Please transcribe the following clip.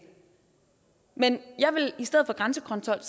men i stedet for grænsekontrol